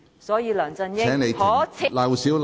所以，梁振英可耻。